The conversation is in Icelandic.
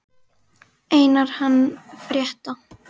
Einar hann frétta.